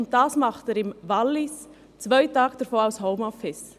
Dies tut er im Wallis, und während zwei Tagen im Homeoffice.